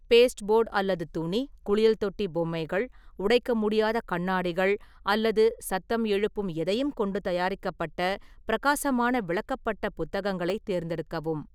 Baseboard அல்லது துணி, குளியல் தொட்டி பொம்மைகள், உடைக்க முடியாத கண்ணாடிகள் அல்லது சத்தம் எழுப்பும் எதையும் கொண்டு தயாரிக்கப்பட்ட பிரகாசமான விளக்கப்பட்ட புத்தகங்களைத் தேர்ந்தெடுக்கவும்.